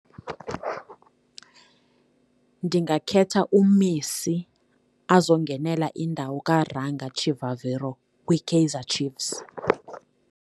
Ndingakhetha uMessi azongenela indawo ka Ranga Chivaviro kwiKaizer Chiefs.